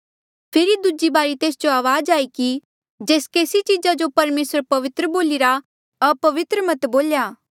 फेरी दूजी बारी तेस जो अवाज आई कि जेस केसी चीजा जो परमेसरे पवित्र बोलिरा अपवित्र मत बोलणा